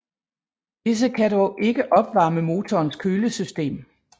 Disse kan dog ikke opvarme motorens kølesystem